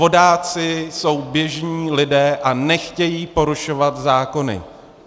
Vodáci jsou běžní lidé a nechtějí porušovat zákony.